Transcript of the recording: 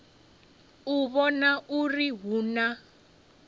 u vhona uri hu na